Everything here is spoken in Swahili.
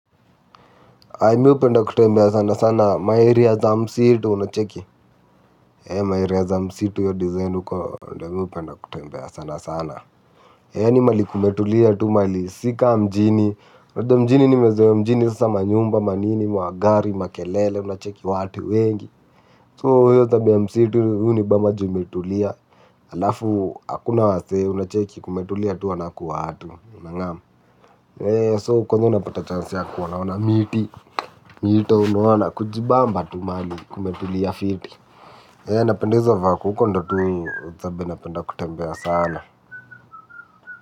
Mi hupenda kutembea sana sana ma area za msitu unacheki ma area za msitu hiyo design uko ndo mi hupenda kutembea sana sana yaani mahali kumetulia tu mahali si kaa mjini mjini nimezoea mjini sasa manyumba ma nini magari makelele unacheki watu wengi so hiyo tabia ya msitu hunibamba juu imetulia. Halafu hakuna wasee unacheki kumetulia tu hanaku watu unangam, so kwenyewe unapata chance ya kuona ona miti. Mito unaona kujibamba tu mahali kumetulia fiti. Napendeza hizo vako, huko ndo tu zabe napenda kutembea sana.